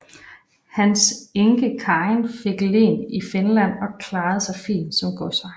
Hans enke Karin fik len i Finland og klarede sig fint som godsejer